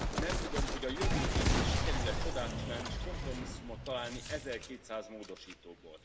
Nem tudom, hogy a jövő hétig sikerül e csodát csinálni, s kompromisszumot találni, ezerkétszáz módosítóból.